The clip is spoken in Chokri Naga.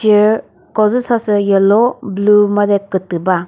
chair ko dzü sa sü yellow blue made kütü ba.